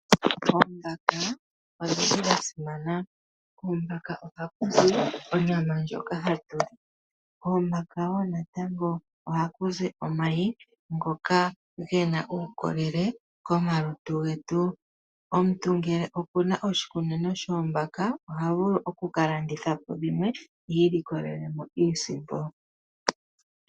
Oombaka odhili ha simana. Koombaka ohaku zi onyama ndjoka hatu li. Koombaka wo natango ohaku zi omayi ngoka gena uukolele komalutu getu. Omuntu ngele okuna oshikunino shoombaka oha vulu oku kalanditha po dhimwe i ilikolele iisimpo.